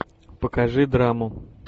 покажи драму